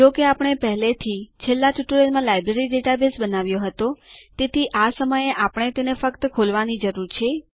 જો કે આપણે પહેલેથી છેલ્લા ટ્યુટોરીયલમાં લાઇબ્રેરી ડેટાબેઝ બનાવ્યો હતો તેથી આ સમયે આપણે તેને ફક્ત ખોલવા ની જરૂર છે